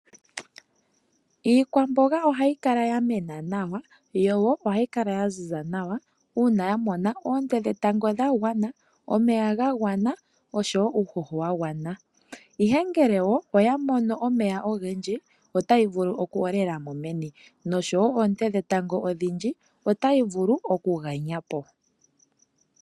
Iikwamboga ohayi kala yamena nawa yo wo oha yi kala ya ziza nawa uuna yamona oonte dhetango dhagwana , omeya ga gwana osho wo uuhoho wa gwana, ihe ngele oya mono omeya ogendji otayi vulu oku hola meni, oshowo oonte dhetango odhindji otayi vulu okuganya po.